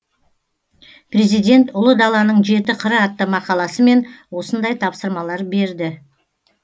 президент ұлы даланың жеті қыры атты мақаласымен осындай тапсырмалар берді